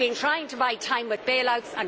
We have been trying to buy time with bailouts.